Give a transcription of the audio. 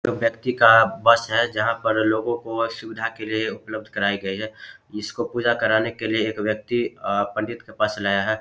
जो व्यक्ति का बस है जहां पर लोगों को सुविधा के लिए उपलब्ध कराई गई है इसको पूजा कराने के लिए एक व्यक्ति अ पंडित के पास लाया है।